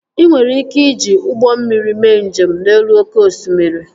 Ị nwere ike iji ụgbọ mmiri mee njem n'elu oké osimiri